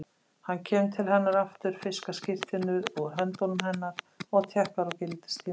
Hann kemur til hennar aftur, fiskar skírteinið úr höndum hennar og tékkar á gildistímanum.